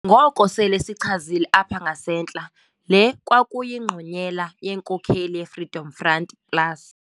ngoko sele sichazile apha ngasentla, le kwakuyingqonyela yenkokheli yeFreedom Front Plus.